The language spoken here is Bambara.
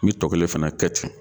N mi tɔ kelen fɛnɛ kɛ ten